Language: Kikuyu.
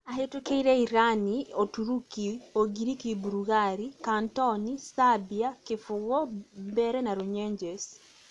Ahĩtũkeire Irani, ũturũki, ũngiriki burugari, Kantoni, Sabia, Kibugu, Mbeere na Runyenjes